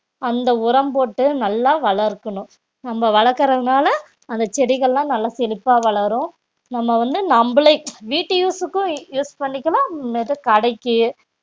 அந்த உரம் போட்டு நல்லா வளர்க்கணும் நம்ம வளர்க்கிறதுனால அந்த செடிகள்லாம் நல்லா செழிப்பா வளரும் நம்ம வந்து நம்மளை வீட்டு use க்கும் use பண்ணிக்கலாம் அப்றமேட்டுக்கு கடைக்கு